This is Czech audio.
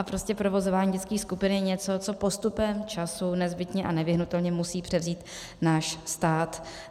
A prostě provozování dětských skupin je něco, co postupem času nezbytně a nevyhnutelně musí převzít náš stát.